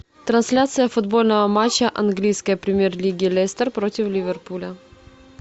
трансляция футбольного матча английской премьер лиги лестер против ливерпуля